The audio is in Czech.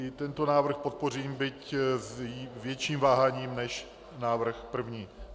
I tento návrh podpořím, byť s větším váháním než návrh první.